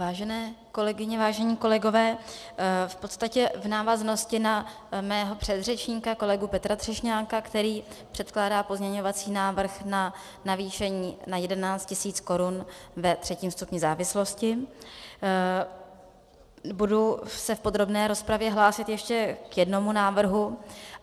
Vážené kolegyně, vážení kolegové, v podstatě v návaznosti na mého předřečníka kolegu Petra Třešňáka, který předkládá pozměňovací návrh na navýšení na 11 000 korun ve třetím stupni závislosti, budu se v podrobné rozpravě hlásit ještě k jednomu návrhu.